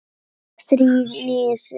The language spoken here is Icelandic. Þrír niður.